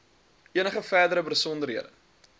enige verdere besonderhede